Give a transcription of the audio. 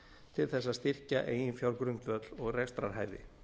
til þess að styrkja eiginfjárgrundvöll og rekstrarhæfi